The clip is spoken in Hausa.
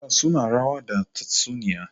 Yara suna rawa da tatsuniyoyi.